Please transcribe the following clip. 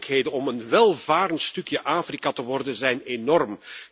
De mogelijkheden om een welvarend stukje Afrika te worden zijn enorm.